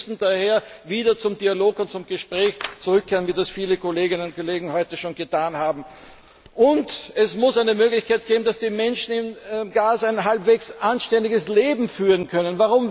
Wir müssen daher wieder zum Dialog und zum Gespräch zurückkehren, wie das viele Kolleginnen und Kollegen heute schon gesagt haben. Und es muss eine Möglichkeit geben, dass die Menschen in Gaza ein halbwegs anständiges Leben führen können!